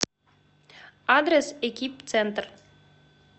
адрес экип центр